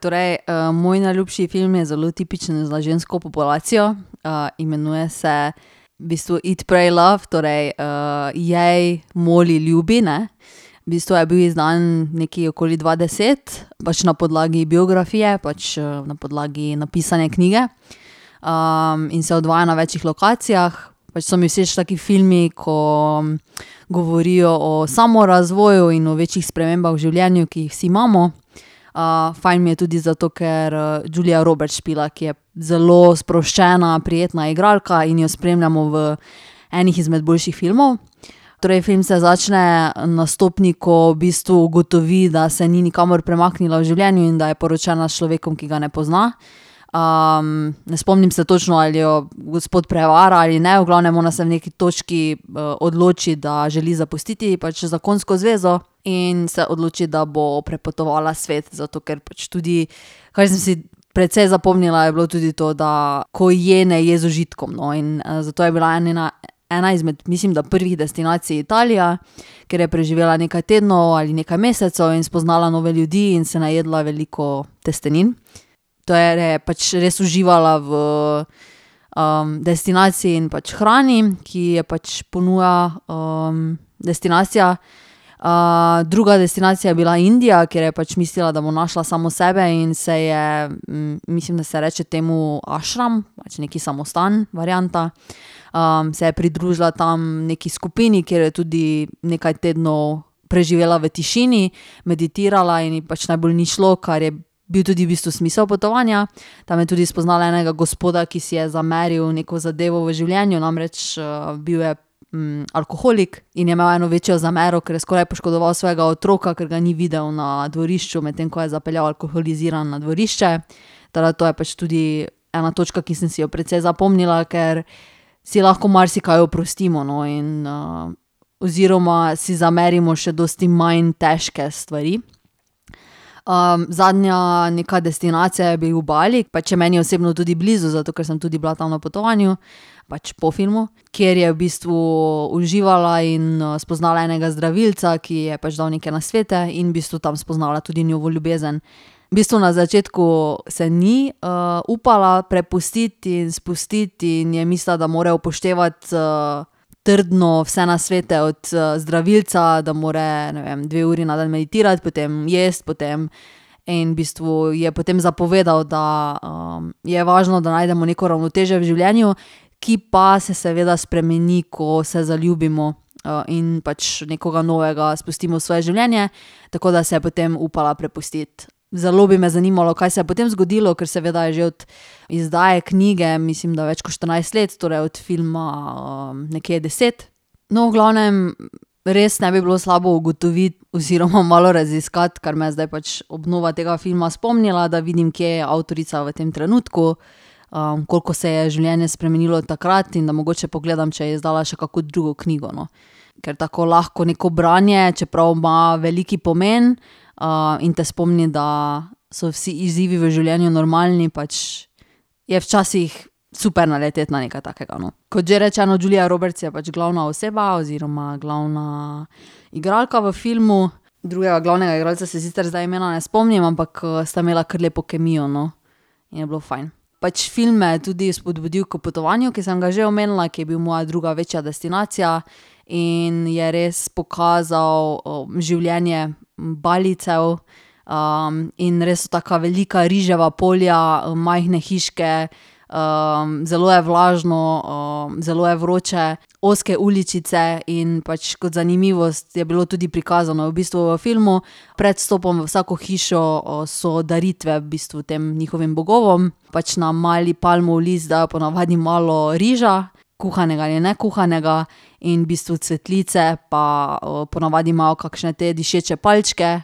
Torej, moj najljubši film je zelo tipičen za žensko populacijo. imenuje se v bistvu Eat, pray, love, torej Jej, moli, ljubi, ne. V bistvu je bil izdan nekje okoli dva deset pač na podlagi biografije pač, na podlagi napisane knjige. in se odvija na večih lokacijah. Pač so mi všeč taki filmu, ko govorijo o samorazvoju in o večjih spremembah v življenju, ki jih vsi imamo. fajn mi je tudi zato, ker, Julia Roberts špila, ki je zelo sproščena, prijetna igralka, in jo spremljamo v enih izmed boljših filmov. Torej film se začne na stopnji, ko v bistvu ugotovi, da se ni nikamor premaknila v življenju in da je poročena s človekom, ki ga ne pozna. ne spomnim se točno, ali jo gospod prevara ali ne. V glavnem, ona se v neki točki, odloči, da želi zapustiti pač zakonsko zvezo, in se odloči, da bo prepotovala svet. Zato ker pač tudi, kar sem si precej zapomnila, je bilo tudi to, da ko je, ne je z užitkom, no. In zato je bila ena njena ena izmed mislim, da prvih destinacij, Italija, kjer je preživela nekaj tednov ali nekaj mesecev in spoznala nove ljudi in se najedla veliko testenin. Je pač res uživala v, destinaciji in pač hrani, ki jo pač ponuja, destinacija. druga destinacija je bila Indija, kjer je pač mislila, da bo našla samo sebe, in se je, mislim, da se reče temu ašram, pač neki samostan varianta, se je pridružila tam neki skupini, kjer je tudi nekaj tednov preživela v tišini, meditirala in ji pač najbolj ni šlo, kar je bil tudi v bistvu smisel potovanja. Tam je tudi spoznala enega gospoda, ki si je zameril neko zadevo v življenju, namreč, bil je, alkoholik. In je imel eno večjo zamero, ker je skoraj poškodoval svojega otroka, ker ga ni videl na dvorišču, medtem ko je zapeljal alkoholiziran na dvorišče. Tako da to je pač tudi ena točka, ki sem si jo precej zapomnila, ker si lahko marsikaj oprostimo, no, in, oziroma si zamerimo še dosti manj težke stvari. zadnja neka destinacija je bil Bali. Pač je meni osebno tudi blizu, zato ker sem tudi bila tam na potovanju. Pač po filmu. Kjer je v bistvu uživala in, spoznala enega zdravilca, ki ji je pač dal neke nasvete, in v bistvu tam spoznala tudi novo ljubezen. V bistvu na začetku se ni, upala prepustiti in spustiti in je mislila, da mora upoštevati, trdno vse nasvete od, zdravilca, da mora, ne vem, dve uri na dan meditirati, potem jaz, potem ... In v bistvu ji je potem zapovedal, da, je važno, da najdemo neko ravnotežje v življenju, ki pa se seveda spremeni, ko se zaljubimo, in pač nekoga novega spustimo v svoje življenje. Tako da se je potem upala prepustiti. Zelo bi me zanimalo, kaj se je potem zgodilo, ker seveda je že od izdaje knjige, mislim, da več kot štirinajst let, torej od filma, nekje deset. No, v glavnem res ne bi bilo slabo ugotoviti oziroma malo raziskati, kar me je zdaj pač obnova tega filma spomnila, da vidim, kje je avtorica v tem trenutku, koliko se je življenje spremenilo od takrat in da mogoče pogledam, če je izdala še kakšno drugo knjigo, no. Ker tako lahko neko branje, čeprav ima velik pomen, in te spomni, da so vsi izzivi v življenju normalni. Pač je včasih super naleteti na nekaj takega, no. Kot že rečeno, Julia Roberts je pač glavna oseba oziroma glavna igralka v filmu, drugega glavnega igralca se sicer zdaj imena ne spomnim, ampak sta imela kar lepo kemijo, no. In je bilo fajn. Pač film me je tudi spodbudil k potovanju, ki sem ga že omenila, ki je bil moja druga večja destinacija, in je res pokazal življenje Balijcev, in res taka velika riževa polja, majhne hiške, zelo je vlažno, zelo je vroče, ozke uličice, in pač kot zanimivost, je bilo tudi prikazano v bistvu v filmu. Pred vstopom v vsako hišo, so daritve v bistvu tem njihovim bogovom. Pač na mali palmov list dajo po navadi malo riža, kuhanega ali nekuhanega, in v bistvu cvetlice pa, po navadi imajo kakšne te dišeče palčke,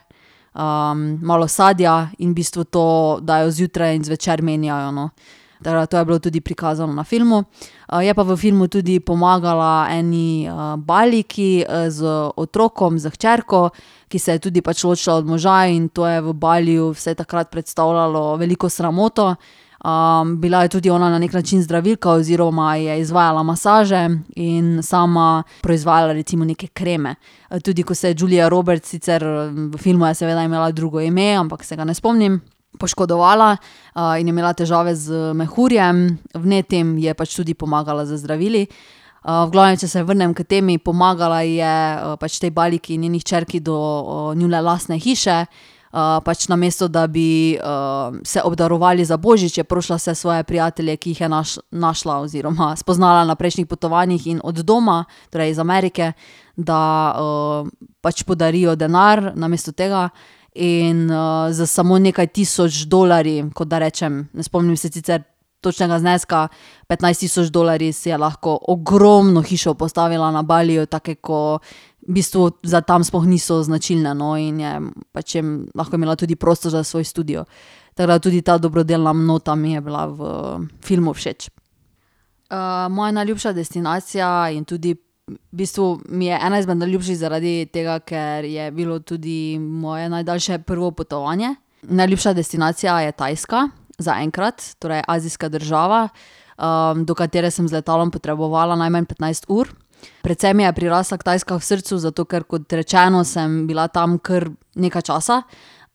malo sadja, in v bistvu to dajo, zjutraj in zvečer menjajo, no. Tako da to je bilo tudi prikazano na filmu. je pa v filmu tudi pomagala eni, Balijki, z otrokom, s hčerko, ki se je tudi pač ločila od moža, in to je v Baliju se je takrat predstavljalo veliko sramoto. bila je tudi ona na neki način zdravilka oziroma je izvajala masaže in sama proizvajala recimo neke kreme. tudi ko se je Julia Roberts sicer, v filmu je seveda imela drugo ime, ampak se ga ne spomnim, poškodovala, in je imela težave z mehurjem vnetim, ji je pač tudi pomagala z zdravili. v glavnem, če se vrnem k temi, pomagala ji je, pač tej Balijki, njeni hčerki do, njune lastne hiše. pač namesto da bi, se obdarovali za božič, je prosila vse svoje prijatelje, ki jih je našla oziroma spoznala na prejšnjih potovanjih, in od doma, torej iz Amerike, da, pač podarijo denar namesto tega. In, s samo nekaj tisoč dolarji, kot da rečem, ne spomnim se sicer točnega zneska, petnajst tisoč dolarji si je lahko ogromno hišo postavila na Baliju, take ko v bistvu za tam sploh niso značilne, no. In je, pač je lahko imela tudi prostor za svoj studio. Tako da tudi ta dobrodelna nota mi je bila v filmu všeč. moja najljubša destinacija in tudi v bistvu mi je ena izmed najljubših zaradi tega, ker je bilo tudi moje najdaljše prvo potovanje. Najljubša destinacija je Tajska, zaenkrat, torej azijska država, do katere sem z letalom potrebovala najmanj petnajst ur. Predvsem mi je prirasla Tajska k srcu zato, ker, kot rečeno, sem bila tam kar nekaj časa.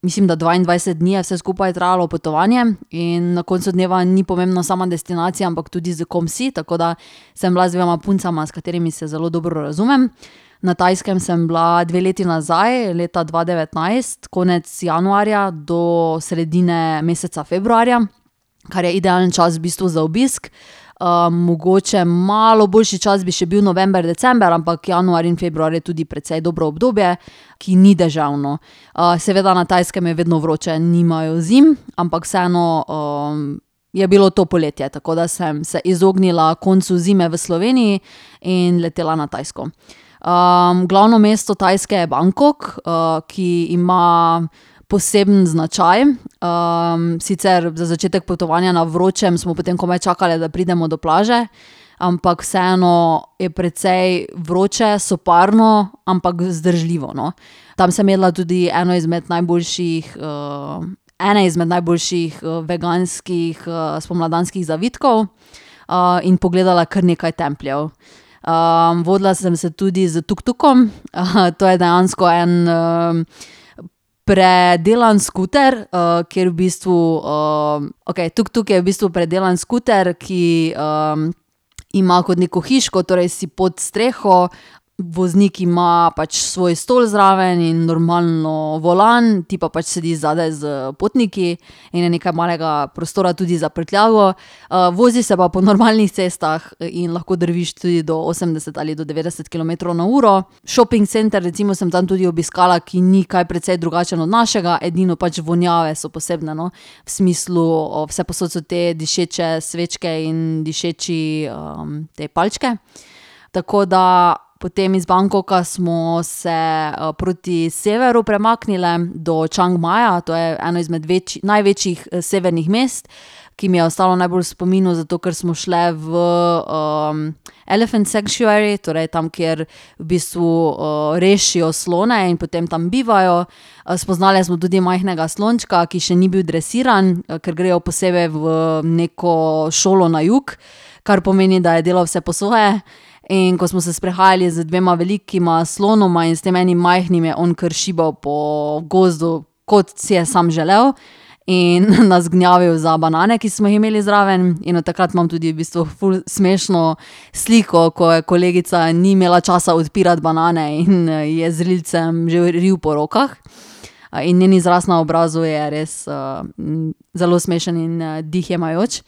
Mislim, da dvaindvajset dni je vse skupaj trajalo potovanje. In na koncu dneva ni pomembna sama destinacija, ampak tudi s kom si, tako da sem bila z dvema puncama, s katerima se zelo dobro razumem. Na Tajskem sem bila dve leti nazaj, leta dva devetnajst, konec januarja do sredine meseca februarja, kar je idealen čas v bistvu za obisk. mogoče malo boljši čas bi še bil november, december, ampak januar in februar je tudi precej dobro obdobje, ki ni deževno. seveda na Tajskem je vedno vroče, nimajo zim, ampak vseeno, je bilo to poletje, tako da sem se izognila koncu zime v Sloveniji in letela na Tajsko. glavno mesto Tajske je Bangkok, ki ima poseben značaj. sicer za začetek potovanja na vročem, smo potem komaj čakali, da pridemo do plaže. Ampak vseeno je precej vroče, soparno, ampak vzdržljivo, no. Tam sem jedla tudi enega izmed najboljših, ene izmed najboljših veganskih, spomladanskih zavitkov, in pogledala kar nekaj templjev. vodila sem se tudi z tuktukom. to je dejansko en, predelan skuter, kjer v bistvu, okej, tuktuk je v bistvu predelan skuter, ki, ima kot neko hiško, torej si pod streho, voznik ima pač svoj stol zraven in normalno volan, ti pa pač sediš zadaj s potniki in je nekaj malega prostora tudi za prtljago. vozi se pa po normalnih cestah in lahko drviš tudi do osemdeset ali do devetdeset kilometrov na uro. Šoping center recimo sem tam tudi obiskala, ki ni kaj precej drugačen od našega, edino pač vonjave so posebne, no. V smislu, vsepovsod so te dišeče svečke in dišeče, te palčke. Tako da potem iz Bangkoka smo se, proti severu premaknile do Čangmaja, to je eno izmed največjih severnih mest, ki mi je ostalo najbolj v spominu zato, ker smo šle v, elephant sanctuary, torej tam, kjer v bistvu, rešijo slone in potem tam bivajo. spoznali smo tudi majhnega slončka, ki še ni bil dresiran, kar grejo posebej v neko šolo na jug, kar pomeni, da je delal vse po svoje, in ko smo se sprehajali z dvema velikima slonoma in s tem enim majhnim, je on kar šibal po gozdu, kot si je sam želel, in nas gnjavil za banane, ki smo jih imeli zraven, in od takrat imam tudi v bistvu ful smešno sliko, ko je kolegica ni imela časa odpirati banane in ji je z rilcem že real po rokah. in njen izraz na obrazu je res, zelo smešen in, dih jemajoč.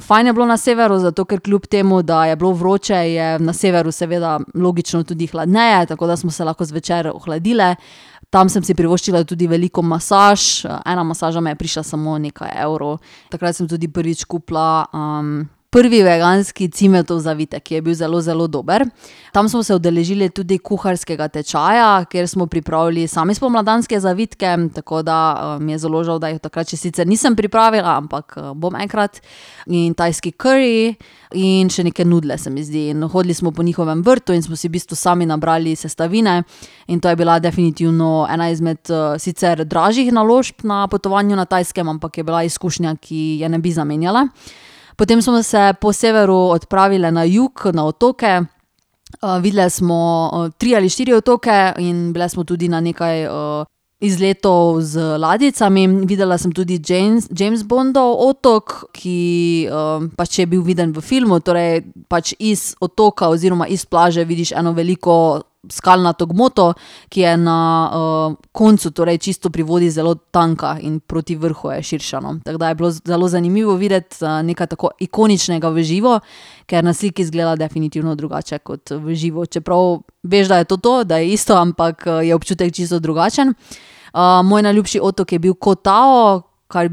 fajn je bilo na severu, zato ker kljub temu da je bilo vroče, je na severu seveda, logično, tudi hladneje, tako da smo se lahko zvečer ohladile. Tam sem si privoščila tudi veliko masaž. Ena masaža me je prišla samo nekaj evrov. Takrat sem tudi prvič kupila, prvi veganski cimetov zavitek, ki je bil zelo, zelo dober. Tam smo se udeležile tudi kuharskega tečaja, kjer smo pripravili sami spomladanske zavitke, tako da, mi je zelo žal, da jih od takrat še sicer nisem pripravila, ampak, bom enkrat, in tajski kari in še neke nudeljne, se mi zdi. In hodili smo po njihovem vrtu in smo si v bistvu sami nabrali sestavine in to je bila definitivno ena izmed, sicer dražjih naložb na potovanju na Tajskem, ampak je bila izkušnja, ki je ne bi zamenjala. Potem smo se po severu odpravile na jug, na otoke. videli smo tri ali štiri otoke in bile smo tudi na nekaj, izletov z ladjicami. Videla sem tudi James Bondov otok, ki, pač je bil viden v filmu, torej pač iz otoka oziroma iz plaže vidiš eno veliko skalnato gmoto, ki je na, koncu, torej čisto pri vodi zelo tanka in proti vrhu je širša, no. Tako da je bilo zelo zanimivo videti, nekaj tako ikoničnega v živo, ker na sliki izgleda definitivno drugače kot v živo, čeprav veš, da je to to, da je isto, ampak, je občutek čisto drugačen. moj najljubši otok je bil Ko Tao, kar v bistvu, pač v "Ko"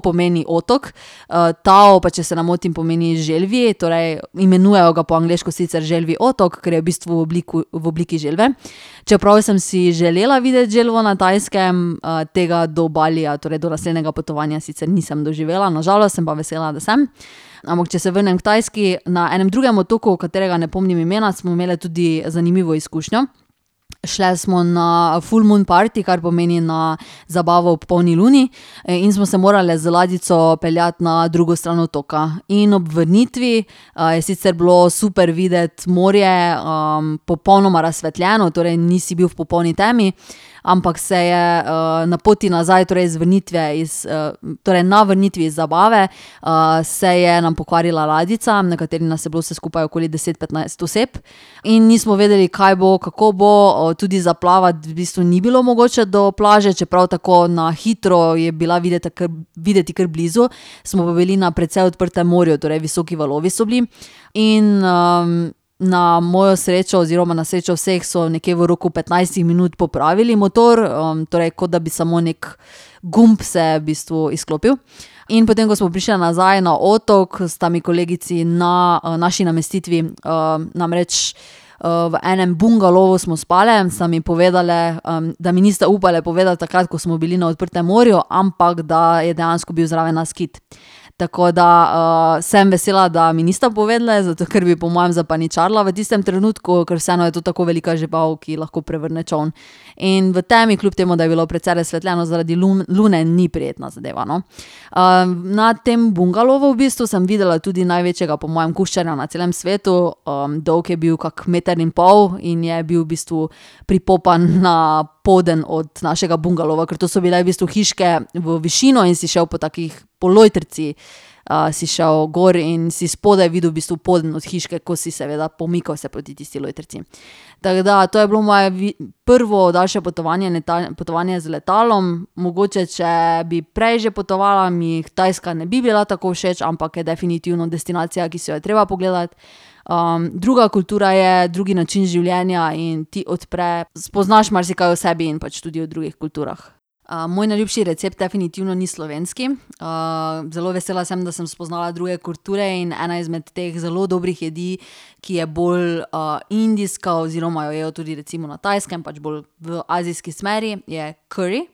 pomeni otok, "Tao" pa, če se ne motim, pomeni želvji, torej imenujejo ga po angleško sicer Želvji otok, kar je v bistvu v v obliki želve. Čeprav sem si želela videti želvo na Tajskem, tega do Balija, torej do naslednjega potovanja, sicer nisem doživela na žalost. Sem pa vesela, da sem. Ampak, če se vrnem k Tajski. Na enem drugem otoku, katerega ne spomnim imena, smo imele tudi zanimivo izkušnjo. Šli smo na ful moon parti, kar pomeni na zabavo ob polni luni, in smo se morale z ladjico peljati na drugo stran otoka. In ob vrnitvi, je sicer bilo super videti morje, popolnoma razsvetljeno, torej nisi bil v popolni temi, ampak se je, na poti nazaj, torej z vrnitve iz, torej na vrnitvi iz zabave, se je nam pokvarila ladjica, na kateri nas je bilo vse skupaj okoli deset, petnajst oseb, in nismo vedeli, kaj bo, kako bo, tudi za plavati v bistvu ni bilo mogoče do plaže, čeprav tako na hitro je bila videti kar, videti kar blizu. Smo pa bili na precej odprtem morju, torej visoki valovi so bili. In, na mojo srečo oziroma na srečo vseh so nekje v roku petnajstih minut popravili motor, torej kot da bi samo neki gumb se v bistvu izklopil. In potem, ko smo prišli nazaj na otok, sta mi kolegici na, naši namestitvi, namreč, v enem bungalovu smo spale, sta mi povedali, da mi nista upale povedati takrat, ko smo bili na odprtem morju, ampak da je dejansko bil zraven nas kit. Tako da, sem vesela, da mi nista povedali, zato ker bi po mojem zapaničarila v tistem trenutku, ker vseeno je to tako velika žival, ki lahko prevrne čoln. In v temi, kljub temu da je bilo precej razsvetljeno zaradi lune, ni prijetna zadeva, no. na tem bungalovu v bistvu sem videla tudi največjega po mojem kuščarja na celem svetu. dolg je bil kak meter in pol in je bil v bistvu pripopan na poden od našega bungalova. Ker to so bile v bistvu hiške v višino in si šel po takih, po lojtrici, si šel gor in si spodaj videl v bistvu poden od hiške, ko si seveda pomikal se proti tisti lojtrici. Tako da to je bilo moje prvo daljše potovanje, potovanje z letalom. Mogoče če bi prej že potovala, mi Tajska ne bi bila tako všeč, ampak je definitivno destinacija, ki si jo je treba pogledati. druga kultura je, drugi način življenja in ti odpre, spoznaš marsikaj o sebi in pač tudi o drugih kulturah. moj najljubši recept definitivno ni slovenski. zelo vesela sem, da sem spoznala druge kulture in ena izmed teh zelo dobrih jedi, ki je bolj, indijska oziroma jo jejo tudi recimo na Tajskem, pač bolj v azijski smeri, je kari.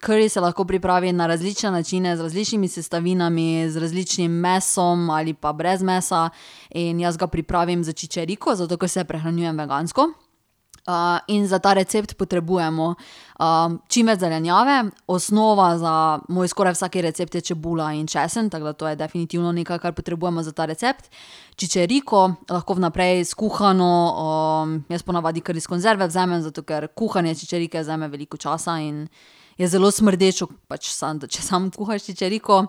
Kari se lahko pripravi na različne načine, z različnimi sestavinami, z različnim mesom ali pa brez mesa, in jaz ga pripravim s čičeriko, zato ker se prehranjujem vegansko. in za ta recept potrebujemo, čimveč zelenjave, osnova za moj skoraj vsak recept je čebula in česen, tako da to je definitivno nekaj, kar potrebujemo za ta recept. Čičeriko, lahko vnaprej skuhano, jaz po navadi kar iz konzerve vzamem, zato ker kuhanje čičerike vzame veliko časa in je zelo smrdeče, pač samo če samo kuhaš čičeriko.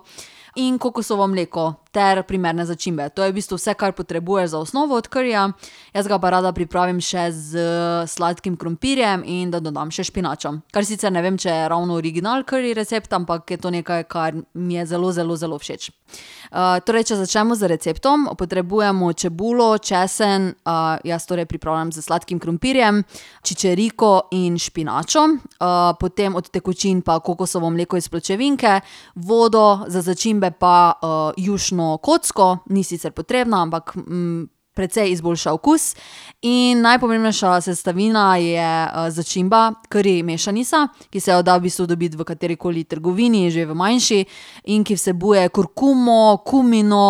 In kokosovo mleko ter primerne začimbe. To je v bistvu vse, kar potrebuješ za osnovo od karija. Jaz ga pa rada pripravim še s sladkim krompirjem in da dodam še špinačo. Kar sicer ne vem, če je ravno original kari recept, ampak je to nekaj, kar mi je zelo, zelo, zelo všeč. torej, če začnemo z receptom. Potrebujemo čebulo, česen, jaz torej pripravljam s sladkim krompirjem, čičeriko in špinačo. potem od tekočin pa kokosovo mleko iz pločevinke, vodo, za začimbe pa, jušno kocko, ni sicer potrebna, ampak, precej izboljša okus, in najpomembnejša sestavina je začimba kari mešanica, ki se jo da v bistvu dobiti v katerikoli trgovini, že v manjši, in ki vsebuje kurkumo, kumino,